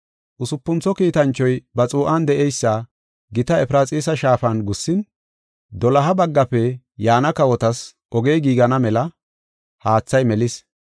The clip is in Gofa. Usupuntho kiitanchoy ba xuu7an de7eysa gita Efraxiisa shaafan gussin, doloha baggafe yaana kawotas ogey giigana mela haathay melis.